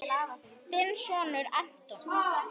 Þinn sonur, Anton.